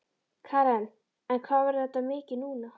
Karen: En hvað verður þetta mikið núna?